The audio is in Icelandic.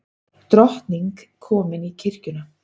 Drottning komin í kirkjuna